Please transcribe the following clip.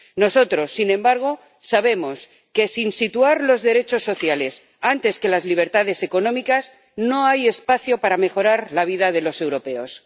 Nosotros, sin embargo, sabemos que, sin situar los derechos sociales por delante de las libertades económicas, no hay espacio para mejorar la vida de los europeos.